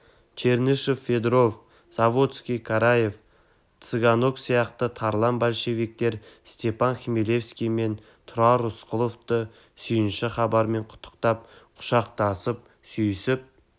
чернышев федоров-заводский карев цыганок сияқты тарлан большевиктер степан хмелевский мен тұрар рысқұловты сүйініш хабармен құттықтап құшақтасып сүйісіп